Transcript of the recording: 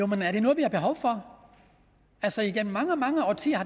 men er det noget vi har behov for igennem mange mange årtier